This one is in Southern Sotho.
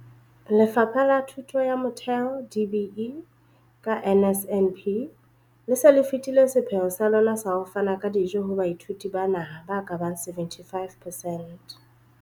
Lefapha la Thuto ya Motheo, DBE, ka NSNP, le se le fetile sepheo sa lona sa ho fana ka dijo ho baithuti ba naha ba ka bang 75 percent.